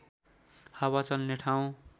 हावा चल्ने ठाउँ